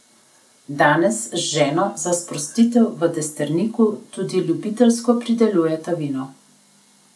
Danes z ženo za sprostitev v Destrniku tudi ljubiteljsko pridelujeta vino.